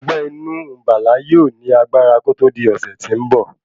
Ọgbé inú Bala yóò ní agbára kòtò di ọ̀sè tí ń bọ̀.